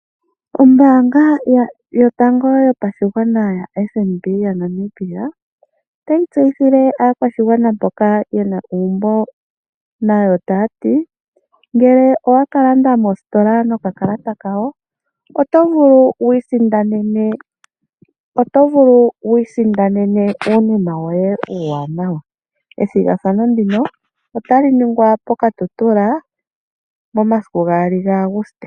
Ombaanga yotango yopashigwana yaFNB yaNamibia otayi tseyitha aakwashigwana mboka yena uumbo taya ti ngele owala landa moositola nokakalata kawo, oto vulu wiisindanene uunima woye uuwanawa, ethigathano ndino otali ningwa ooKatutula momasiku gaali gaAgusite.